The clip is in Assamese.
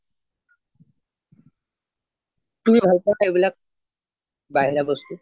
তুমি ভাল পোৱা নে এইবিলাক বাহিৰা বস্তু